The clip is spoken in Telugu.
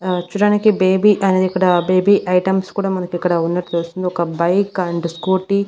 ఆ చూడ్డానికి బేబీ అనేదిక్కడ ఇక్కడ బేబీ ఐటమ్స్ కూడా మనకు ఇక్కడ ఉన్నట్లు తెలుస్తుంది ఒక బైక్ అండ్ స్కూటీ --